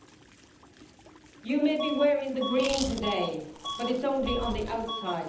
She may be wearing the green today, but it is only on the outside.